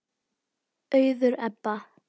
Auður Ebba.